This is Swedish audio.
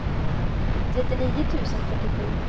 trettionio tusen fyrtiosju